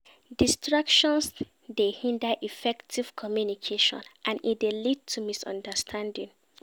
Distractions dey hinder effective communication and e dey lead to misunderstanding.